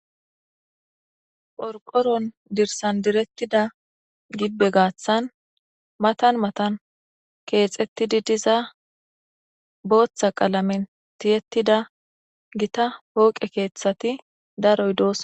Phorqoron dirsan direttida gibbe gaaththan matan matan keexettidi diza booththa qalamen tiyettida gita pooqe keeththati daroy doos.